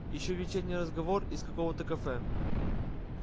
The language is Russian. ещё вечерний разговор из какого-то кафе